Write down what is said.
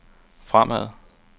fremad